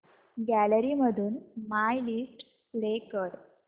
gallery मधून my list play कर